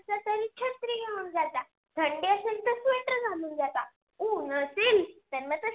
उन असेल तर म ते